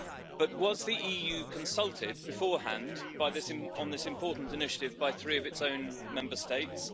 But was the EU consulted beforehand on this important initiative by three of its own Member States?